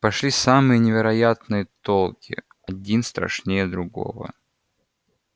пошли самые невероятные толки один страшнее другого